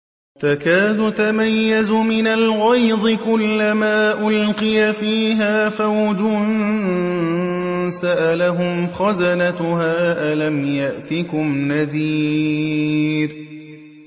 تَكَادُ تَمَيَّزُ مِنَ الْغَيْظِ ۖ كُلَّمَا أُلْقِيَ فِيهَا فَوْجٌ سَأَلَهُمْ خَزَنَتُهَا أَلَمْ يَأْتِكُمْ نَذِيرٌ